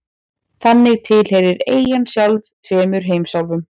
Þannig tilheyrir eyjan sjálf tveimur heimsálfum.